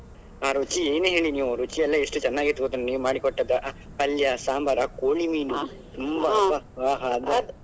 ಆ ರುಚಿ ಏನೇ ಹೇಳಿ ನೀವು ರುಚಿಯೆಲ್ಲ ಎಷ್ಟು ಚೆನ್ನಾಗಿತ್ತು ಗೊತ್ತುಂಟಾ ನೀವು ಮಾಡಿಕೊಟ್ಟದ್ದ ಪಲ್ಯ, ಸಾಂಬಾರ್, ಆ ಕೋಳಿ ಮೀನು ತುಂಬಾ ಅಬ್ಬಬ್ಬ ಅದು.